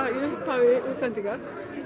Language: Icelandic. upphafi útsendingar